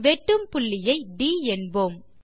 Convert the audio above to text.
வெட்டும் புள்ளியை ட் என்போம்